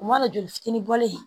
O ma na joli fitini bɔlen